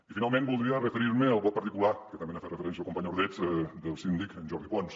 i finalment voldria referir me al vot particular que també hi ha fet referència el company ordeig del síndic jordi pons